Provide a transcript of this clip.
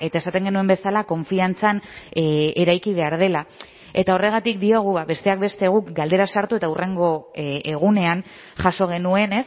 esaten genuen bezala konfiantzan eraiki behar dela eta horregatik diogu besteak beste guk galdera sartu eta hurrengo egunean jaso genuen